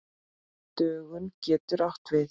Dögun getur átt við